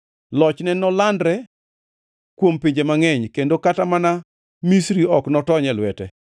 Lochne nolandre kuom pinje mangʼeny kendo kata mana Misri ok notony e lwete.